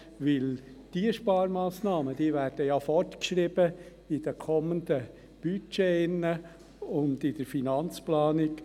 Denn diese Sparmassnahmen werden ja fortgeschrieben in den kommenden Budgets und in der Finanzplanung.